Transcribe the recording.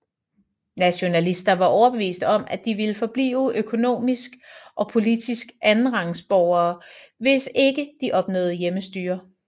Nationalister var overbeviste om at de ville forblive økonomisk og politiske andenrangs borgere hvis ikke de opnåede hjemmestyre